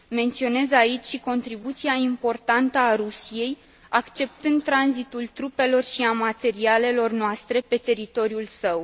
Menționez aici și contribuția importantă a Rusiei, acceptând tranzitul trupelor și a materialelor noastre pe teritoriul său.